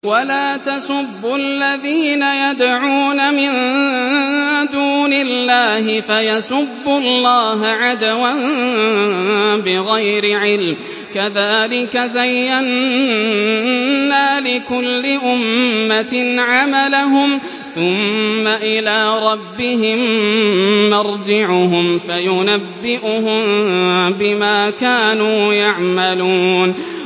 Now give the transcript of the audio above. وَلَا تَسُبُّوا الَّذِينَ يَدْعُونَ مِن دُونِ اللَّهِ فَيَسُبُّوا اللَّهَ عَدْوًا بِغَيْرِ عِلْمٍ ۗ كَذَٰلِكَ زَيَّنَّا لِكُلِّ أُمَّةٍ عَمَلَهُمْ ثُمَّ إِلَىٰ رَبِّهِم مَّرْجِعُهُمْ فَيُنَبِّئُهُم بِمَا كَانُوا يَعْمَلُونَ